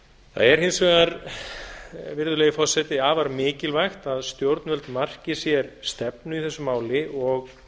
það er hins vegar virðulegi forseti afar mikilvægt að stjórnvöld marki sér stefnu í þessu máli og